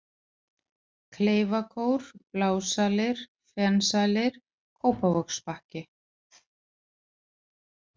Kleifakór, Blásalir, Fensalir, Kópavogsbakki